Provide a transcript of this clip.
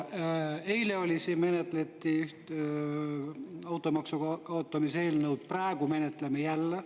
Eile menetleti siin automaksu kaotamise eelnõu, praegu menetleme jälle.